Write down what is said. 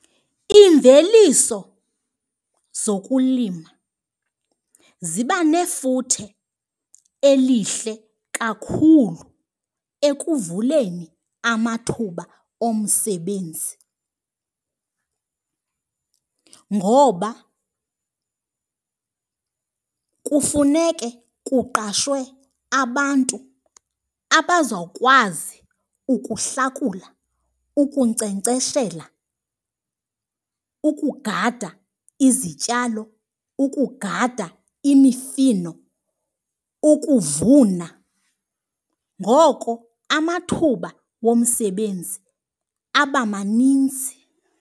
Iimveliso zokulima ziba nefuthe elihle kakhulu ekuvuleni amathuba omsebenzi ngoba kufuneke kuqashwe abantu abazawukwazi ukuhlakula, ukunkcenkceshela, ukugada izityalo, ukugada imifino, ukuvuna. Ngoko amathuba womsebenzi aba maninzi.